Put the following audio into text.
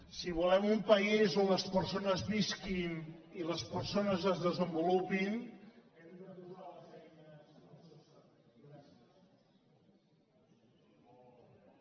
si volem un país on les persones visquin i les persones es desenvolupin hem de posar les eines